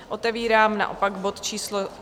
Otevírám naopak bod číslo